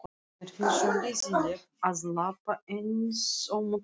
Mér finnst svo leiðinlegt að labba einsömul heim.